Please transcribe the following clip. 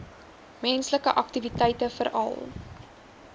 menslike aktiwiteite veral